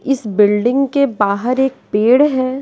इस बिल्डिंग के बाहर एक पेड़ है।